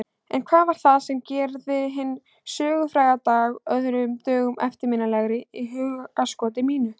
En hvað var það sem gerði hinn sögufræga dag öðrum dögum eftirminnilegri í hugskoti mínu?